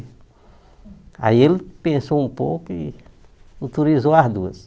Aí ele pensou um pouco e autorizou as duas.